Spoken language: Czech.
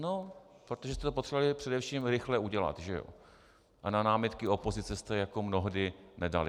No protože jste to potřebovali především rychle udělat, že ano, a na námitky opozice jste jako mnohdy nedali.